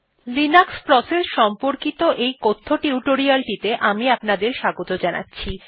Linux process সম্পর্কিত এই কথ্য টিউটোরিয়ালটিতে আমি আপনাদের স্বাগত জানাচ্ছি